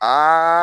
Aa